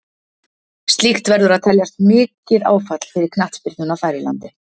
Slíkt verður að teljast mikið áfall fyrir knattspyrnuna þar í landi.